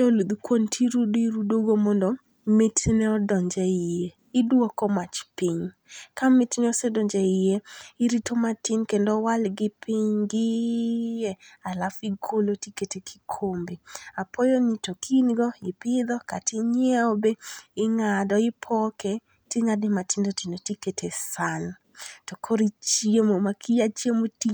oluth kuon tirudo irudogo mondo mitne odonje iye, idwoko mach piny, ka mitne osedonjo e hiye irito matin kendo owal gi piny gi hiye alafu igolo tikete e kikombe, alafu apoyoni to ka ingo, ipitho kata ingiewo be inga'do de ipoke ti ngade be matindo tindo tikete e sahan to koro uchiemo ma ka iya chiemo ti